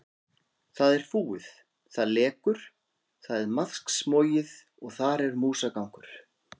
Það er fúið, það lekur, það er maðksmogið og þar er músagangur.